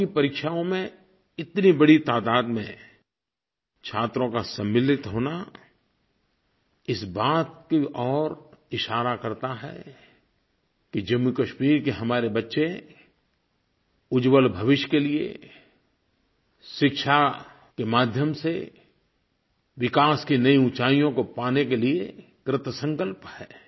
board की परीक्षाओं में इतनी बड़ी तादाद में छात्रों का सम्मिलित होना इस बात की ओर इशारा करता है कि जम्मूकश्मीर के हमारे बच्चे उज्ज्वल भविष्य के लिये शिक्षा के माध्यम से विकास की नई ऊँचाइयों को पाने के लिये कृतसंकल्प हैं